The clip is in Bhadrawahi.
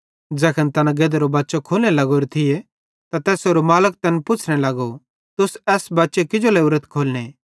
ज़ैखन तैना गधेरो बच्चे खोलने लग्गोरो थिये त तैसेरो मालिक तैन पुच्छ़ने लगो तुस एस बच्चे किजो लोरेथ खोलने